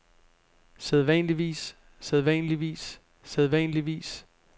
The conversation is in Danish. sædvanligvis sædvanligvis sædvanligvis